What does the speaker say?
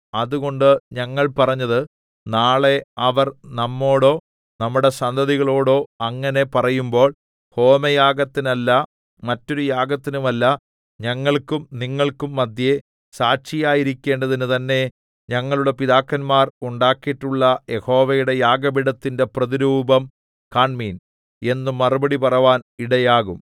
അതുകൊണ്ട് ഞങ്ങൾ പറഞ്ഞത് നാളെ അവർ നമ്മോടോ നമ്മുടെ സന്തതികളോടോ അങ്ങനെ പറയുമ്പോൾ ഹോമയാഗത്തിനല്ല മറ്റൊരു യാഗത്തിനുമല്ല ഞങ്ങൾക്കും നിങ്ങൾക്കും മദ്ധ്യേ സാക്ഷിയായിരിക്കേണ്ടതിന് തന്നേ ഞങ്ങളുടെ പിതാക്കന്മാർ ഉണ്ടാക്കീട്ടുള്ള യഹോവയുടെ യാഗപീഠത്തിന്റെ പ്രതിരൂപം കാണ്മീൻ എന്ന് മറുപടി പറവാൻ ഇടയാകും